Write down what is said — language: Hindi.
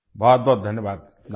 बहुत धन्यवाद